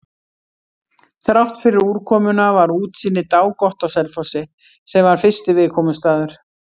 Þráttfyrir úrkomuna var útsýni dágott á Selfossi, sem var fyrsti viðkomustaður.